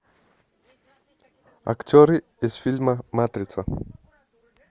актеры из фильма матрица